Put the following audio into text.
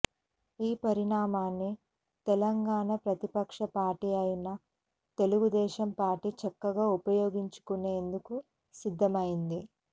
ఈ పరిణామాన్ని తెలంగాణ ప్రతిపక్ష పార్టీ అయిన తెలుగుదేశం పార్టీ చక్కగా ఉపయోగించుకునేందుకు సిద్ధమైంది